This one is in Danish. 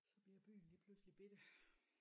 Så bliver byen lige pludselig bette